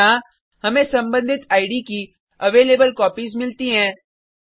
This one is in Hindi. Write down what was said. यहाँ हमें सम्बंधित इद की अवेलेबलकोपीज मिलती हैं